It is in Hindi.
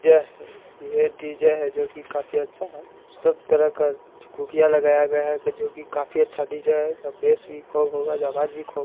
यह डी_जे हैं जो कि काफी अच्छा है सब तरह का तूतिया लगाया गया है जो कि काफी अच्छा डिजाईन बसे खूब होगा आवाज़ भी खूब होगा |--